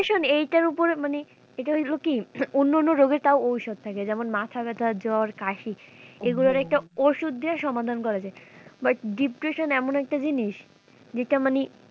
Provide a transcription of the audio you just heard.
pression এটার ওপর মানে এটা হলো কি অন্যান্য রোগের তাও ঔষধ থাকে যেমন মাথা ব্যাথা জ্বর কাশি এগুলোর একটা ওষুধ দিয়ে সমাধান করা যায় but depression এমন একটা জিনিস যেটা মানে,